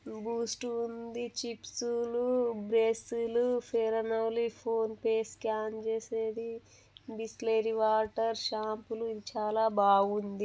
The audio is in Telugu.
బూస్ట్ ఉంది చిప్స్ బ్రెష్లు Fair and Lovely PhonePe scan చేసేది బిస్లేరి వాటర్ శంపులు చాలా బాగుంది